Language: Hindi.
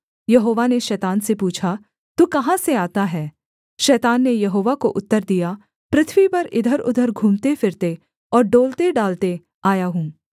यहोवा ने शैतान से पूछा तू कहाँ से आता है शैतान ने यहोवा को उत्तर दिया पृथ्वी पर इधरउधर घूमतेफिरते और डोलतेडालते आया हूँ